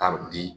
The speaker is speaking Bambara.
Ka bi